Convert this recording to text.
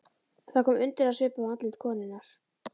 Það kom undrunarsvipur á andlit konunnar.